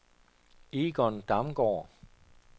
Egon Damgaard